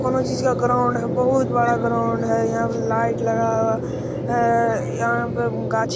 कउनो चीज का ग्राउंड है बहुत बड़ा ग्राउन्ड है यहाँ पे लाइट लगा हुआ ए-ए- यहाँ पे गाछ--